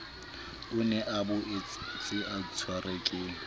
o ne a boetseatshwerwe ke